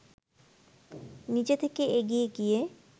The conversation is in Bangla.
নিজে থেকে এগিয়ে গিয়ে